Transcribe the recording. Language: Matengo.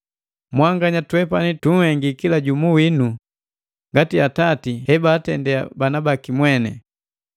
Mmanya twepani tunhengi kila jumu winu ngati atati hebaatende bana baki mweni.